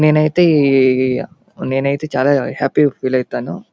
నేనైతే నేనైతే చాల హ్యాపీ గా ఫీల్ అవుతాను.